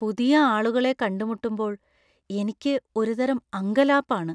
പുതിയ ആളുകളെ കണ്ടുമുട്ടുമ്പോൾ എനിക്ക് ഒരുതരം അങ്കലാപ്പ് ആണ്.